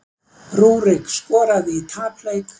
Rúrik skoraði í tapleik